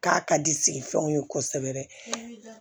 K'a ka di sigiw ye kosɛbɛ